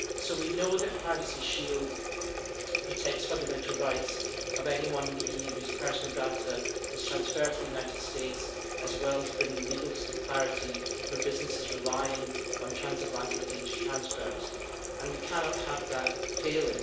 We know that Privacy Shield protects the fundamental rights of anyone in the EU whose personal data is transferred to the United States, as well as bringing legal clarity for businesses relying on trans Atlantic data transfers, and we cannot allow that to fail.